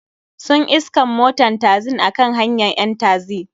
Sun iskan moton taxin a kan hanyan ƴan taxi.